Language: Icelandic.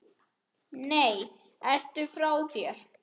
Nei, ertu frá þér!